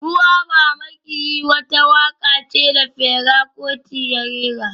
Ruwa ba maƙiyi wata waƙa ce da Fela Kuti ya rera